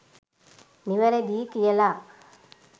නිවැරැදියි කියලා?